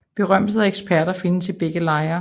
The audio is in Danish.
Berømtheder og eksperter findes i begge lejre